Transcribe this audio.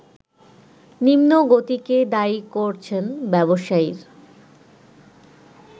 নিম্নগতিকে দায়ী করছেন ব্যবসায়ীর